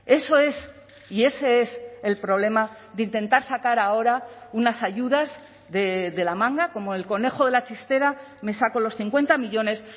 eso es y ese es el problema de intentar sacar ahora unas ayudas de la manga como el conejo de la chistera me saco los cincuenta millónes